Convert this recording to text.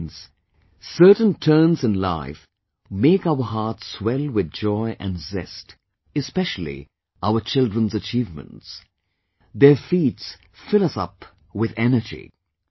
Friends, certain turns in life make our hearts swell with joy & zest; especially our children's achievements, their feats fill us up with energy